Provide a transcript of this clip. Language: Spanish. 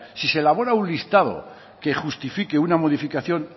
si se elabora un listado que justifique una modificación